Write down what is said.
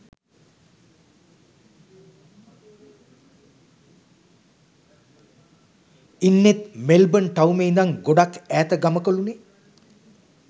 ඉන්නෙත් Melbourne ටවුමේ ඉඳන් ගොඩක් ඈත ගමකලුනේ